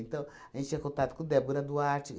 Então, a gente tinha contato com Débora Duarte.